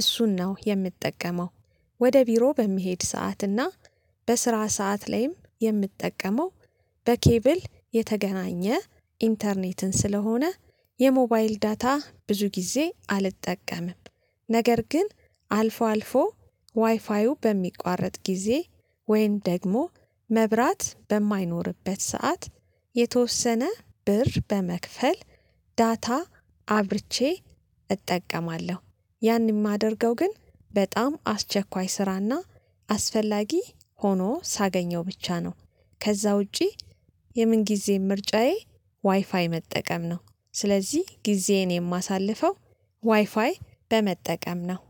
እሱን ነው የምትጠቀመው ወደ ቢሮ በሚሄድ ሰዓት እና በስራ ሰዓት ላይም የምጠቀመው በኬብል የተገናኘ ኢንተርኔትን ስለሆነ የሞባይል ዳታ ብዙ ጊዜ አልጠቀምም፤ ነገር ግን አልፎ አልፎ ዋይፋዩ በሚቋረጥ ጊዜ ወይን ደግሞ መብራት በማይኖርበት ሰዓት የተወሰነ ብር በመክፈል ዳታ አብርቼ እጠቀማለሁ፤ ያንን የማደርገው ግን በጣም አስቸኳይ ስራና አስፈላጊ ሆኖ ሳገኘው ብቻ ነው ከዛ ውጪ የምንጊዜም ምርጫዬ ዋይፋይ መጠቀም ነው ስለዚህ ጊዜዬን የማሳልፈው ዋይፋይ በመጠቀም ነው።